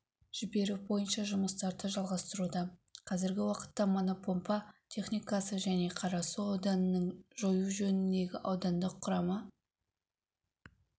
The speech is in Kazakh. жіберу бойынша жұмыстарды жалғастыруда қазіргі уақытта мотопомпа техникасы және қарасу ауданының жою жөніндегі аудандық құрама